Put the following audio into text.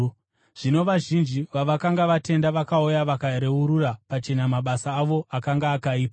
Zvino vazhinji vavakanga vatenda vakauya vakareurura pachena mabasa avo akanga akaipa.